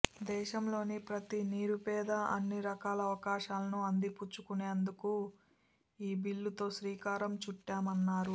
దేశంలోని ప్రతి నిరుపేదా అన్ని రకాల అవకాశాలను అందిపుచ్చుకునేందుకు ఈ బిల్లుతో శ్రీకారం చుట్టామన్నారు